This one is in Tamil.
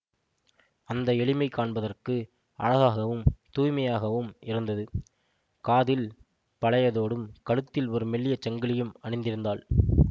அந்த எளிமை காண்பதற்கு அழகாகவும் தூய்மையாகவும் இருந்தது காதில் பழைய தோடும் கழுத்தில் ஒரு மெல்லிய சங்கிலியும் அணிந்திருந்தாள்